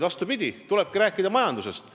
Vastupidi, tulebki rääkida majandusest.